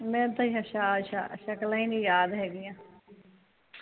ਮੈਨੂੰ ਤਾ ਸ਼ਕਲਾਂ ਹੀ ਨੀ ਯਾਦ ਹੇਗੀਆਂ